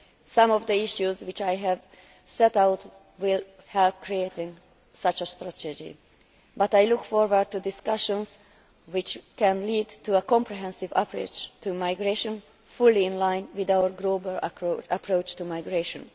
Some of the issues which I have set out will help in creating such a strategy, but I look forward to discussions which can lead to a comprehensive approach to migration, fully in line with our global approach to migration.